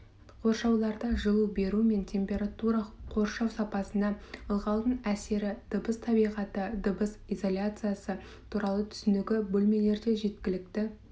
қоршауларда жылу беру мен температура қоршау сапасына ылғалдың әсері дыбыс табиғаты дыбыс изоляциясы туралы түсінігі бөлмелерде жеткілікті